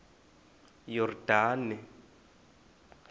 yordane